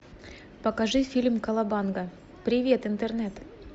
покажи фильм колобанга привет интернет